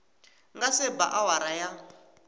nga se ba awara ya